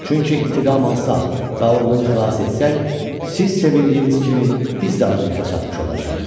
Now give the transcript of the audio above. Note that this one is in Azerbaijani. Çünki intiqam alsaq və oğlunu xilas etsək, siz sevindiyiniz kimi biz də arzumuza çatmış olacağıq.